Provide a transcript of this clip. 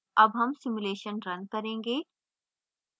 अब हम simulation now करेंगे